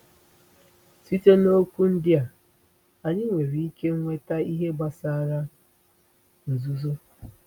Site na okwu ndị a, anyị nwere ike nweta ihe gbasara nzuzo.